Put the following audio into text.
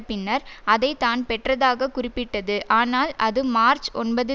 பின்னர் அதை தான் பெற்றதாக குறிப்பிட்டது ஆனால் தனது மார்ச் ஒன்பது